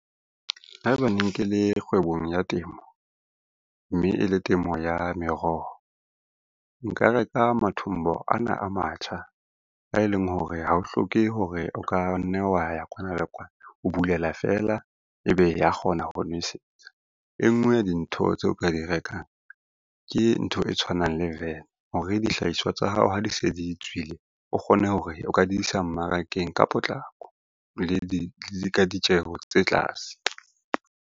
Haeba ne ke le kgwebong ya temo, mme e le temo ya meroho, nka reka mathombo ana a matjha a e leng hore ha o hloke hore o ka nne wa ya kwana le kwana, o bulela fela ebe ya kgona ho nwesetsa. E ngwe ya dintho tseo ka di rekang ke ntho e tshwanang le van hore dihlahiswa tsa hao ha di se di tswile, o kgone hore o ka di isa mmarakeng ka potlako, le ka ditjeho tse tlase.